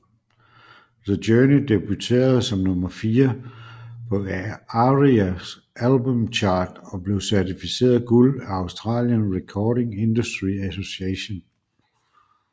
The Journey debuterede som nummer fire på ARIA Albums Chart og blev certificeret guld af Australian Recording Industry Association